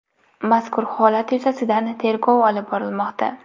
Mazkur holat yuzasidan tergov olib borilmoqda.